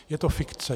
Je to fikce.